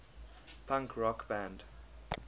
punk rock band